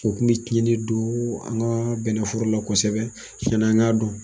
U kun bi tiɲɛni don an ka bɛnɛforo la kosɛbɛ yani an ka dɔn.